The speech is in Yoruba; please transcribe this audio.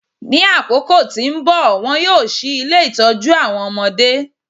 Ní àkókò tí nbọ, wón yíò ṣí ilé itọju awọn ọmọdé